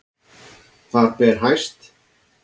Þar ber hæst